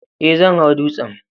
Ee, zan hau dutsen